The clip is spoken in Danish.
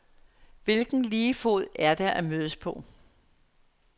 Hvilken lige fod er der at mødes på?